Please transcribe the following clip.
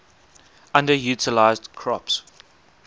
underutilized crops